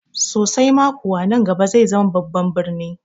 Sosai ma kuwa, nan gaba zai zama babban birni